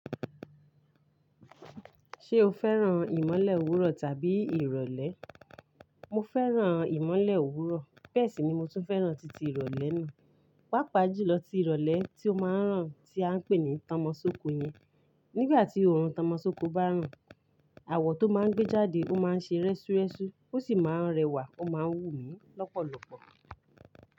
Ṣé o fẹ́ràn ìmọ́lẹ̀ òwúrọ̀ tàbí ìrọ̀lẹ́? Mo fẹ́ràn ìmọ́lẹ̀ òwúrọ̀, bẹ́ẹ̀ sì ni mo tún fẹ́ràn titi ìrọ̀lẹ́ náà. Pápá jùlọ ti ìrọ̀lẹ́ tí ó máa ń ràn tí a ń pè ní tọmọsókò yẹn. Nígbà tí òórùn tọmọsókò bá ràn, àwọ̀ tó máa ń gbé jáde ó máa ń ṣe rẹ́súré́sú, ó sì máa ń rẹwà ó máa ń wù mí lọ́pọ̀lọpọ̀.